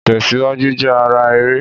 Ìtẹ̀síwájú jẹ́ ara eré